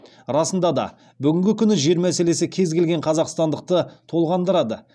расында да бүгінгі күні жер мәселесі кез келген қазақстандықты толғандырады